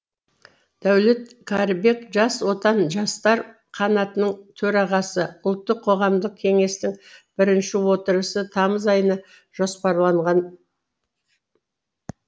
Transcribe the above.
дәулет кәрібек жас отан жастар қанатының төрағасы ұлттық қоғамдық кеңестің бірінші отырысы тамыз айына жоспарланған